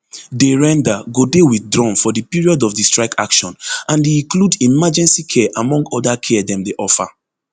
dey render go dey withdrawn for di period of di strike action and e include emergency care among oda care dem dey offer